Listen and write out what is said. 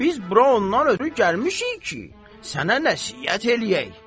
Biz bura ondan ötrü gəlmişik ki, sənə nəsihət eləyək.